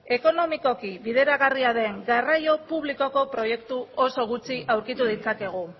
ekonomikoki bideragarria den garraio publikoko proiektu oso gutxi aurkitu ditzakegu